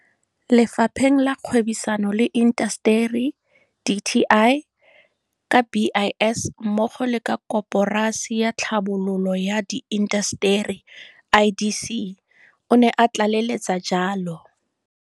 Lefapheng la Kgwebisano le Intaseteri dti ka BIS mmogo le ka Koporasi ya Tlhabololo ya Diintaseteri IDC, o ne a tlaleletsa jalo.